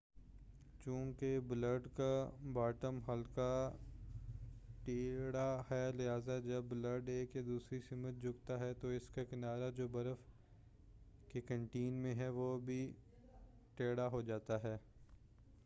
چوں کہ بلیڈ کا باٹم ہلکا ٹیڑھا ہے لہذا جب بلیڈ ایک یا دوسری سمت جھکتا ہے تو اس کا کنارہ جو برف کے کنٹیکٹ میں ہے وہ بھی ٹیڑھا ہو جاتا ہے